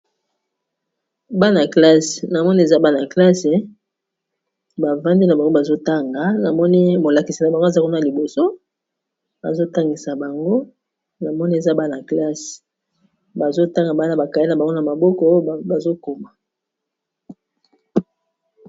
Bana classe na moni eza bana classe bavamdi na bango ,bazotanga na moni molakisi na bango aza kua na liboso azotangisa bango na moni eza bana classe bazotanga bana bakale na bango na maboko bazokoma.